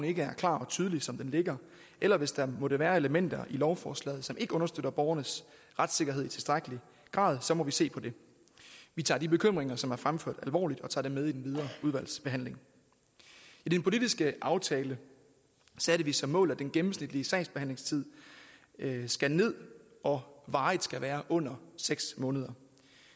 ikke er klart og tydeligt som det ligger eller hvis der måtte være elementer i lovforslaget som ikke understøtter borgernes retssikkerhed i tilstrækkelig grad så må vi se på det vi tager de bekymringer som er fremført alvorligt og tager dem med i den videre udvalgsbehandling i den politiske aftale satte vi som mål at den gennemsnitlige sagsbehandlingstid skal ned og varigt skal være under seks måneder